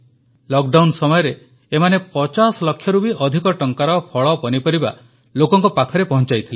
lockdown ସମୟରେ ଏମାନେ 50 ଲକ୍ଷରୁ ବି ଅଧିକ ଟଙ୍କାର ଫଳପନିପରିବା ଲୋକଙ୍କ ପାଖରେ ପହଂଚାଇଥିଲେ